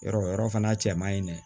Yɔrɔ o yɔrɔ fana cɛ man ɲi dɛ